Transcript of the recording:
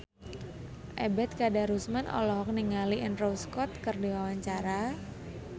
Ebet Kadarusman olohok ningali Andrew Scott keur diwawancara